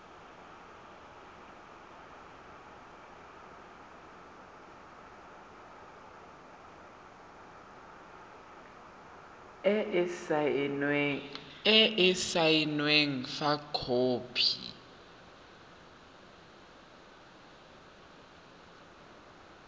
e e saenweng fa khopi